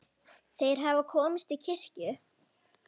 Þeir hafa komist á kirkju!